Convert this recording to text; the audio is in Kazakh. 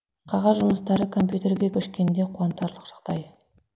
қағаз жұмыстары компьютерге көшкені де қуантарылқ жағдай